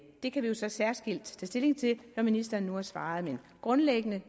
det kan vi jo så særskilt tage stilling til når ministeren nu har svaret men grundlæggende